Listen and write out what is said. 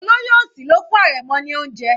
Olóyè òsì ló fún arẹmọ ní oúnjẹ.